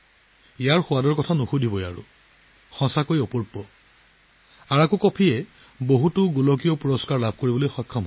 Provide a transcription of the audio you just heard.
ইয়াৰ সোৱাদৰ কথা নুসুধিব এই কফি একেবাৰে আচৰিত ধৰণৰ আৰাকু কফিয়ে বহুতো আন্তঃৰাষ্ট্ৰীয় বঁটা লাভ কৰিছে